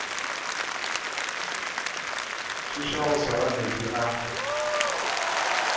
thuša go swara meetse a